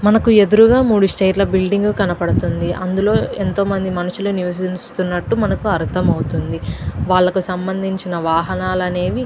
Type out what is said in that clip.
మనకి ఎదురుంగా మూడు స్టేజి ల బిల్డింగ్ కనిపిస్తుంది. అందులో ఎంతో మంది మనుషులు నివసిస్తున్నట్టు మనకు అర్థమవుతుంది. వాళ్లకు సంబంధించిన వాహనాలనేవి --